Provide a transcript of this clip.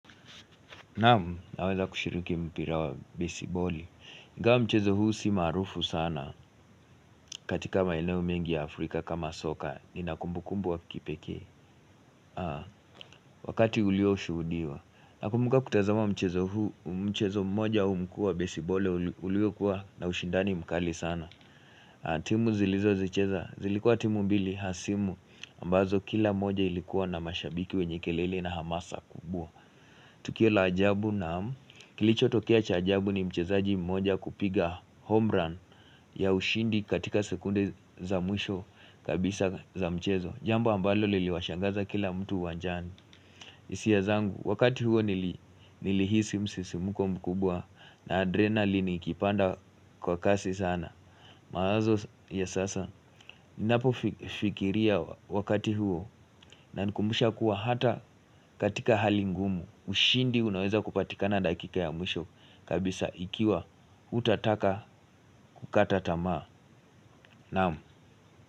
Naamu, naweza kushiriki mpira wa besiboli ingawa mchezo huu si marufu sana katika maeneo mengi ya Afrika kama soka nina kumbukumbu wa kipeke Wakati ulio ushudiwa Nakumuka kutazama mchezo huu Mchezo mmoja umkua besibole ulio kuwa na ushindani mkali sana timu zilizo zicheza zilikuwa timu mbili hasimu ambazo kila moja ilikuwa na mashabiki wenye kelele na hamasa kubua Tukio la ajabu naamu Kilicho tokea chajabu ni mchezaji mmoja kupiga homerun ya ushindi katika sekunde za mwisho kabisa za mchezo. Jambo ambalo liliwashangaza kila mtu wajani. Isia zangu wakati huo nili hisi msisi mkumbu kubwa na adrenalini ikipanda kwa kasi sana. Mawazo ya sasa ninapofikiria wakati huo na nikumusha kuwa hata katika hali ngumu. Ushindi unaweza kupatika na dakika ya mwisho kabisa ikiwa hutataka kukata tamaa Naamu.